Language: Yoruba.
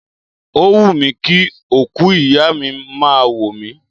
Ó wùmí kí òkú ìyá mi máa wò mí.